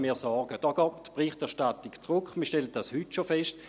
Hier geht die Berichterstattung zurück, das stellt man bereits heute fest.